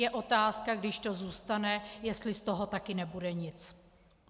Je otázka, když to zůstane, jestli z toho taky nebude nic.